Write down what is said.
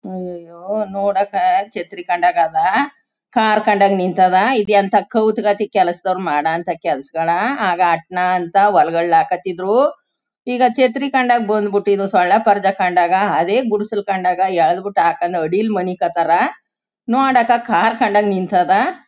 ಅಯ್ಯಯ್ಯೋ ನೋಡಕ್ಕೆ ಛತ್ರಿ ಕಂಡಗ್ ಅದ. ಕಾರ್ ಕಂಡಗ್ ನಿಂತದ ಇದೆಂತ ಕೌತ್ ಗತಿ ಮಾಡೋ ಅಂತ ಕೆಲಸದೋರ್ ಮಾಡೋ ಅಂತ ಕೆಲ್ಸ್ಗಳ ಆಗ ಆತ್ನ ಅಂತ ಒಳ್ಗ್ ಒಳ್ಗ್ ಹಾಕೋತಿದ್ರು. ಈಗ ಛತ್ರಿ ಕಂಡಾಗ ಬಂದ್ಬಿಟು ಈಗ ಸೊಳ್ಳೆ ಪರ್ದಾ ಕಂಡಾಗ ಅದೇ ಗುಡಿಸಿಲು ಕಂಡಾಗ ಎಳ್ದ್ಬಿಟ್ ಹಾಕೊಂಡು ಅಡಿಲ್ ಮಲ್ಕೊತಾರ ನೋಡಕ್ಕ ಕಾರ್ ಕಂಡಗ್ ನಿಂತದ.